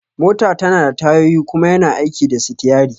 Mota tanada tayoyi kuma yana aiki da sitiyari